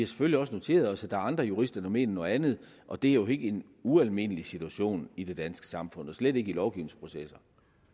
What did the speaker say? selvfølgelig også noteret os at der er andre jurister der mener noget andet og det er jo ikke en ualmindelig situation i det danske samfund og slet ikke i lovgivningsprocesser